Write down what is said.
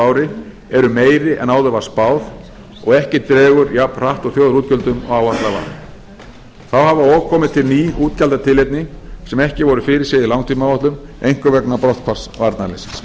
ári eru meiri en áður var spáð og ekki dregur jafn hratt úr þjóðarútgjöldum og áætlað var þá hafa og komið til ný útgjaldatilefni sem ekki voru fyrirséð í langtímaáætlun einkum vegna brotthvarfs varnarliðsins